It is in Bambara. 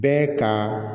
Bɛɛ ka